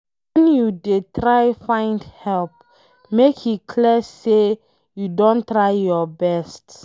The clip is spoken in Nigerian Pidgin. Wen you dey find help, make e clear sey you don try your best.